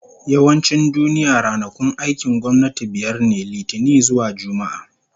Yawancin duniya, ranakun aikin gwamnati biyar ne, Litinin zuwa Juma'a